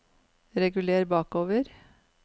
reguler bakover